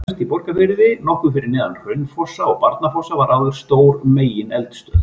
Efst í Borgarfirði, nokkuð fyrir ofan Hraunfossa og Barnafoss var áður stór megineldstöð.